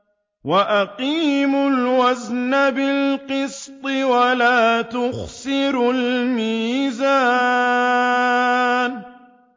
وَأَقِيمُوا الْوَزْنَ بِالْقِسْطِ وَلَا تُخْسِرُوا الْمِيزَانَ